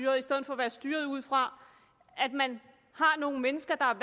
og i stedet for at være styrede ud fra at man har nogle mennesker der